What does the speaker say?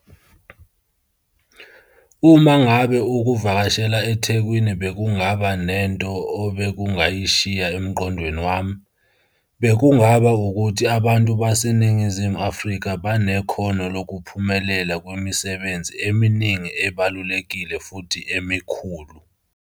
Uma ngabe ukuvakashela eThekwini bekungaba nento obekungayishiya emqondweni wami, bekungaba ukuthi abantu baseNingizimu Afrika banekhono lokuphumelela kwimisebenzi eminingi ebalulekile futhi emikhulu.